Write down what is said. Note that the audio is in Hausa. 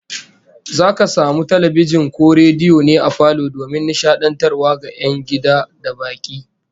Zaka samu talbijin ko rediyo ne a falo domin nishadantarwa ga 'yan gida da baki